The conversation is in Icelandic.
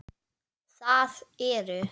LÁRUS: Það eru.